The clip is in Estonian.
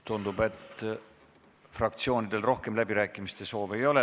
Tundub, et fraktsioonidel rohkem kõnesoove ei ole.